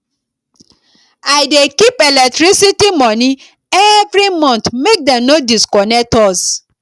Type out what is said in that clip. i dey keep electricity moni every month make dem no disconnect us